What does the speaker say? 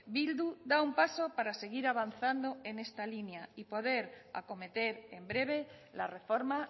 bildu da un paso para seguir avanzando en esta línea y poder acometer en breve la reforma